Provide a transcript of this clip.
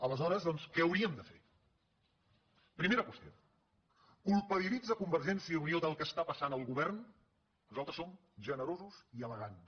aleshores doncs què hauríem de fer primera qüestió culpabilitza convergència i unió del que està passant el govern nosaltres som generosos i elegants